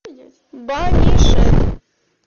банишед